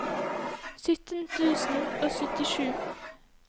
sytten tusen og syttisju